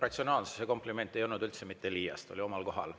Ratsionaalsuse kompliment ei olnud üldse mitte liiast, oli omal kohal.